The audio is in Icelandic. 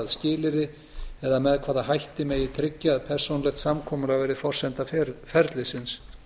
skilyrði eða með hvaða hætti megi tryggja að persónulegt samkomulag verði forsenda ferlisins